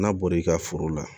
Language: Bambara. N'a bɔra i ka foro la